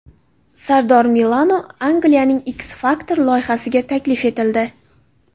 Sardor Milano Angliyaning X-Factor loyihasiga taklif etildi.